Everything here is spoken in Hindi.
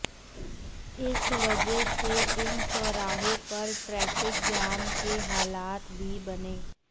इस वजह से इन चाैराहाें पर ट्रैफिक जाम के हालात भी बने